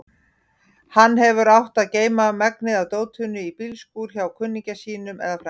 Hann hefði átt að geyma megnið af dótinu í bílskúr hjá kunningja sínum eða frænda.